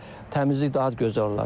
Təmizlik daha gözəl olar.